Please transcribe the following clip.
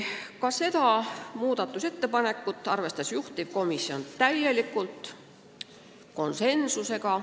Ka seda muudatusettepanekut arvestas juhtivkomisjon täielikult ja konsensusega.